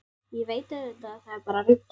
Ég veit auðvitað að það er bara rugl.